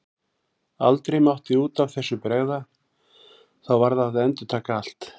Aldrei mátti út af þessu bregða, þá varð að endurtaka allt.